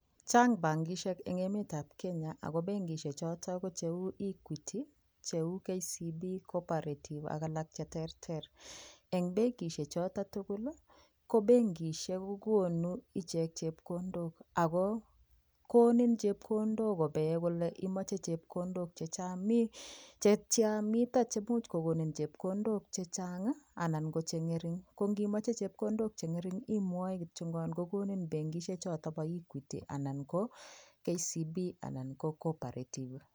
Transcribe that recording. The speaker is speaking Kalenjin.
Chang bankishek eng emetab Kenya ako benkishek choton ko cheu Equity, cheu KBC, cooperative ak alak cheterter , eng benkishek choton tukul ko benkishek kokonu choton ichek chepkondok, ako konin chepkondok kobeen kole imache chepkondok chetyan mitan cheimuch kokonin chepkondok chechang anan ko chengering ko ngimache chepkondok chengering imwae kiyon ngan konin benkishek choton bo equity anan ko KCB anan ko cooperative.